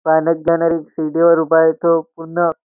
चालत जाणारी सीडीवर उभा आहे तो पुन्हा --